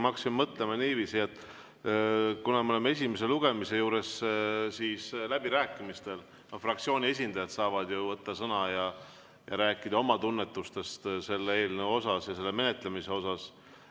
Ma hakkasin mõtlema niiviisi, et kuna me oleme esimese lugemise juures, siis läbirääkimistel fraktsiooni esindajad saavad ju võtta sõna ja rääkida oma tunnetustest selle eelnõu puhul ja selle menetlemise puhul.